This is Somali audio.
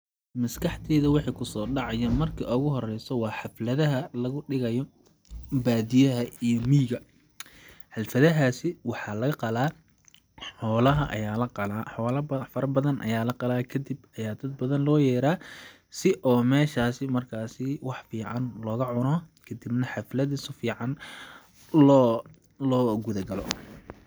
Maskaxdeyda wixi kusoo dhacayo marki ugu horeyso waa xafladaha lagu dhigayo baadiyaha iyo miyiga ,xalfadahaasi waxaa laga qalaa ,xoolaha ayaa la qalaa ,xoola fara badan ayaa la qalaa kadib ayaa dad badan loo yeraa si oo meshaasi markaasii wax fiican looga cuno kadibna xaflada su fiican loo..loo guda galo.